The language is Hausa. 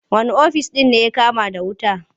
Wane ofis ne ya kama da wuta?